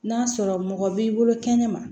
N'a sɔrɔ mɔgɔ b'i bolo kɛnɛ ma